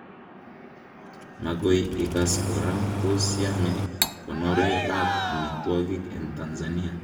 Magoi igas kora, tos yame konoret ab amitwogik eng Tansania